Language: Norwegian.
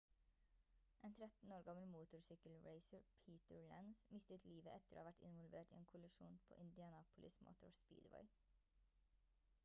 en 13 år gammel motorsykkelracer peter lenz mistet livet etter å ha vært involvert i en kollisjon på indianapolis motor speedway